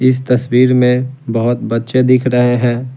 इस तस्वीर में बहुत बच्चे दिख रहे हैं।